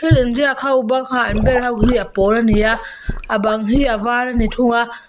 inziak ho banga an bel ho hi a pawl a ni a a bang hi a var a ni thung a.